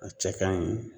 A cɛ ka ɲi